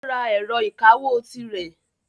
Ó ra ẹ̀rọ ìkawó tirẹ̀.